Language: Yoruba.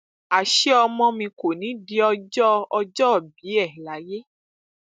àṣé ọmọ mi kò ní í di ọjọ ọjọòbí ẹ láyé